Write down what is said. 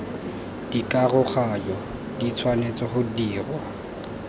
dikaroganyo di tshwanetse go dirwa